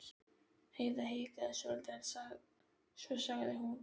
Heiða hikaði svolítið en svo sagði hún